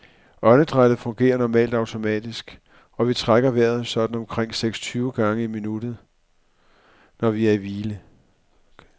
Åndedrættet fungerer normalt automatisk, og vi trækker vejret sådan omkring seksten tyve gange i minuttet, når vi er i hvile.